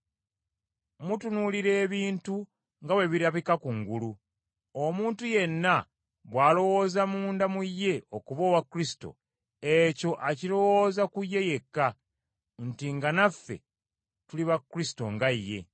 Mutunuulira ebintu nga bwe birabika kungulu. Omuntu yenna bw’alowooza munda mu ye okuba owa Kristo, ekyo akirowooza ku ye yekka, nti nga naffe tuli ba Kristo nga ye.